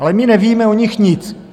Ale my nevíme o nich nic.